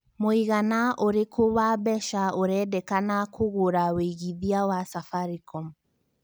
mũigana ũrikũ wa mbeca ũrendekana kũngũra wĩigĩthĩa wa safaricom